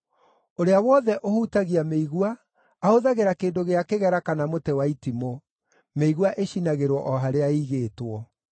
Ũrĩa wothe ũhutagia mĩigua ahũthagĩra kĩndũ gĩa kĩgera kana mũtĩ wa itimũ; mĩigua ĩcinagĩrwo o harĩa ĩigĩtwo.”